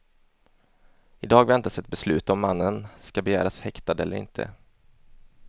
I dag väntas ett beslut om mannen ska begäras häktad eller inte.